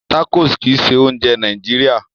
Tacos kìí ṣe oúnjẹ Nàìjíría